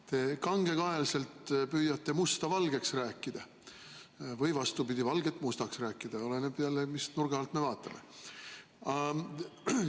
Te kangekaelselt püüate musta valgeks rääkida või vastupidi, valget mustaks rääkida, oleneb, mis nurga alt me vaatame.